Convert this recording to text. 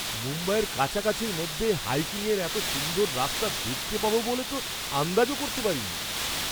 মুম্বইয়ের কাছাকাছির মধ্যে হাইকিংয়ের এত সুন্দর রাস্তা দেখতে পাবো বলে তো আন্দাজও করতে করিনি!